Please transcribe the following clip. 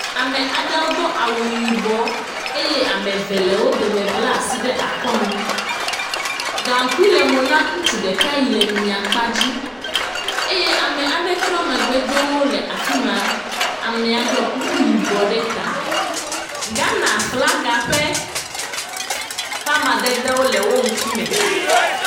Ame aɖewo do awu yibɔ eye ame eve le wo dome bla asi ɖe akɔnu. Gaŋkui le mo na ŋutsu ɖekae le mia kpa dzi eye ame aɖe trɔ megbe dewo le afi ma. Amea ɖɔ kuku yibɔ ɖe ta. Ghana flaga ƒe amadede wo le woƒe ŋkume.